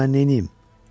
Bəs indi mən neyniyim?